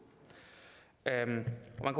man